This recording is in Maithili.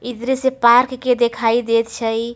ई दृश्य पार्क के देखाई देत छे ई।